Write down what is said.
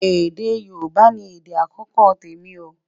èdè yorùbà ní èdè akọkọ témi o